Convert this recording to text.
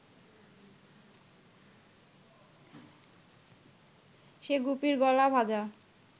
সে গুপির গলা ভাঁজা